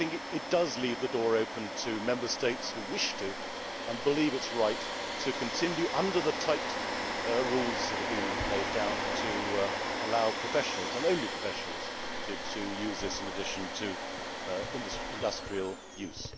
sought. It leaves the door open to Member States that wish to, and believe it is right to, continue under the tight rules that have been laid down to allow professionals and only professionals to use this in addition to industrial